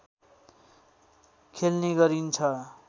खेल्ने गरिन्छ